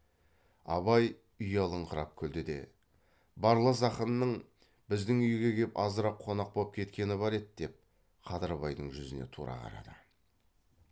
абай ұялыңқырап күлді де барлас ақынның біздің үйге кеп азырақ қонақ боп кеткені бар еді деп қадырбайдың жүзіне тура қарады